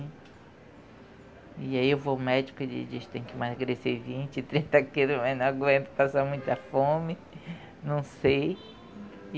E aí eu vou ao médico e ele diz que tem que emagrecer vinte, trinta quilos, mas não aguento, passo muita fome, não sei.